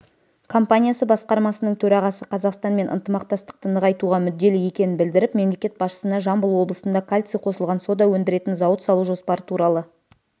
компаниясы басқармасының төрағасы қазақстанмен ынтымақтастықты нығайтуға мүдделі екенін білдіріп мемлекет басшысына жамбыл облысында кальций қосылған сода өндіретін зауыт салу жоспары туралы